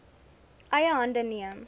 eie hande neem